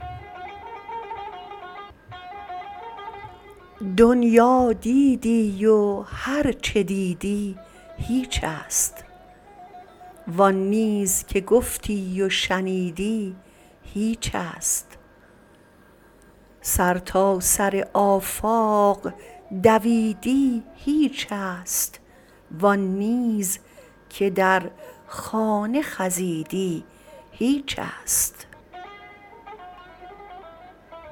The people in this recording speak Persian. دنیا دیدی و هر چه دیدی هیچ است و آن نیز که گفتی و شنیدی هیچ است سرتاسر آفاق دویدی هیچ است و آن نیز که در خانه خزیدی هیچ است